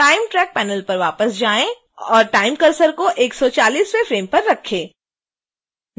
time track panel पर वापस जाएँ और time cursor को 140वें फ्रेम पर रखें